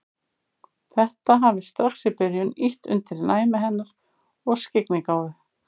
Þetta hafi strax í byrjun ýtt undir næmi hennar og skyggnigáfu.